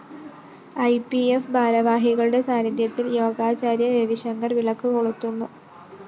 E P F ഭാരവാഹികളുടെ സാന്നിധ്യത്തില്‍ യോഗാചാര്യന്‍ രവിശങ്കര്‍ വിളക്ക് കൊളുത്തുന്നു